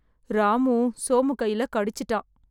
ராமு சோமு கையில கடிச்சுட்டான்